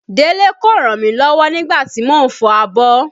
Délé kò ràn mí lọ́wọ́ nígbà tí mo ń fọ abọ́